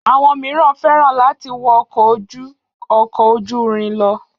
Àwọn miran fẹ́ràn láti wọ ọkọ̀ ju ọkọ̀ ojú-irin lọ